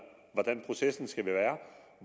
hvordan processen skal være